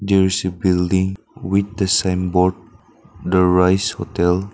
there is a building with the sign board the rice hotel.